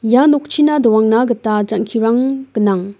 ia nokchina doangna gita jang·kirang gnang.